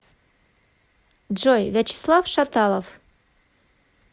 джой вячеслав шаталов